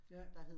Ja